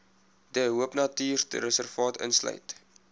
de hoopnatuurreservaat insluit